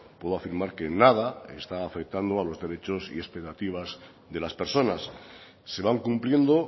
puedo afirmar que nada está afectando a los derechos y expectativas de las personas se van cumpliendo